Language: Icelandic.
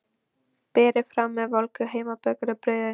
Berið fram með volgu heimabökuðu brauði.